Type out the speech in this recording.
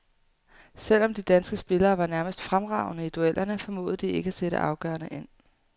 Selv om de danske spillere var nærmest fremragende i duellerne formåede de ikke at sætte afgørende ind.